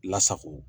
Lasago